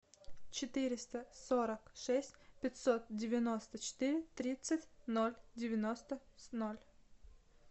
четыреста сорок шесть пятьсот девяносто четыре тридцать ноль девяносто ноль